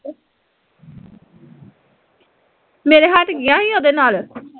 ਤੇਰੇ ਹਟ ਗਈਆ ਸੀ ਉਹਦੇ ਨਾਲ਼